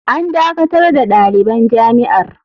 “An dakatar da daliban jami’ar.